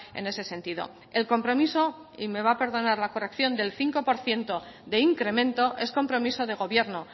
en ese sentido el compromiso y me va a perdonar la corrección del cinco por ciento de incremento es compromiso de gobierno